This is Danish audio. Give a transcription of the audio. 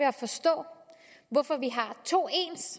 at forstå hvorfor vi har to